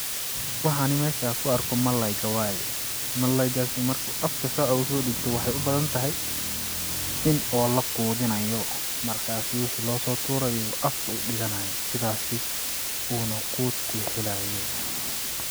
Waxan mesha kuarkayo waa malayga waye, malaygas marko afka sodibtoo waxay ubadhan tahay in lakuudhinayo markas wixi losoturo afka udikanayo sidhas uuna kuut kuhelayo.